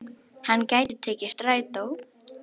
Hann gæti tekið strætó.